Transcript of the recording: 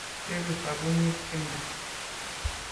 Cheru sapunit simndo.